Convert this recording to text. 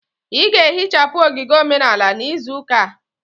Ị ga-ehichapụ ogige omenala n'izu ụka a.